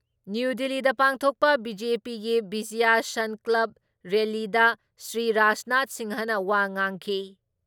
New ꯗꯤꯜꯂꯤꯗ ꯄꯥꯡꯊꯣꯛꯄ ꯕꯤ.ꯖꯦ.ꯄꯤꯒꯤ ꯕꯤꯖꯌ ꯁꯟꯀꯜꯞ ꯔꯦꯜꯂꯤꯗ ꯁꯔꯤ ꯔꯥꯖꯅꯥꯊ ꯁꯤꯡꯍ ꯋꯥ ꯉꯥꯡꯈꯤ ꯫